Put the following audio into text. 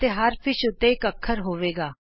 ਅਤੇ ਹਰ ਮੱਛੀ ਉੱਤੇ ਇਕ ਅੱਖਰ ਹੋਵੇਗਾ